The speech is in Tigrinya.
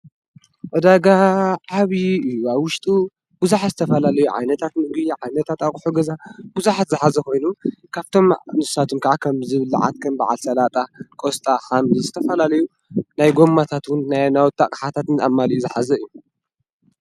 ዕዳጋ ዓብዪ እዩ፡፡ ኣብ ውሽጡ ብዙሓት ዝተፈላለዩ ዓይነታት ምግቢ፣ ዓይነታት ኣቑሑ ገዛ፣ ብዙሓት ዝሓዘ ኮይኑ ካብቶም ንሳቶም ከዓ ከም ዝብላዕ ከም በዓል ሰላጣ፣ ቆስጣ፣ ሓምሊ ዝተፈላለዩ ናይ ጎማታት እውን ናይ ናውቲ ኣቕሓታትን ኣማሊኡ ዝሓዘ እዩ፡፡